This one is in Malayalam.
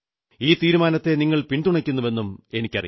ഈ തീരുമാനത്തെ നിങ്ങൾ പിന്തുണയ്ക്കുന്നുവെന്നും എനിക്കറിയാം